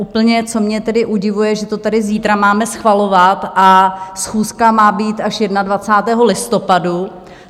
Úplně co mě tedy udivuje, že to tady zítra máme schvalovat, a schůzka má být až 21. listopadu.